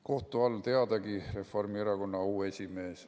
Kohtu all, teadagi, Reformierakonna auesimees.